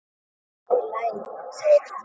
Allt í lagi, segir hún.